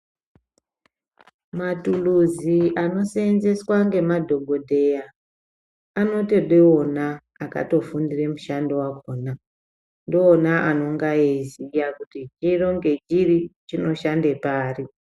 Matuluzi anoseenzeswa ngemadhokodheya, anotode wona akafundire mushando wakhona ndoona anonga eiziya kuti chino ngechiri chinoshande pari.